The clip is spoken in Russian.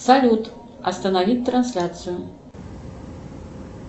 салют остановить трансляцию